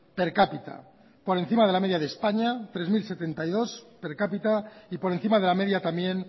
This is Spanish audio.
per cápita por encima de la media de españa tres mil setenta y dos per cápita y por encima de la media también